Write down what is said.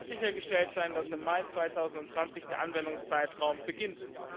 Es muss sichergestellt sein, dass im Mai 2020 der Anwendungszeitraum beginnt.